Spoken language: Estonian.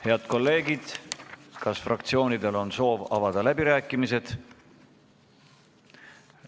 Head kolleegid, kas fraktsioonidel on soovi avada läbirääkimised?